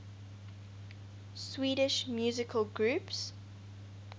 swedish musical groups